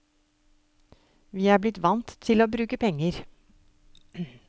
Vi er blitt vant til å bruke penger.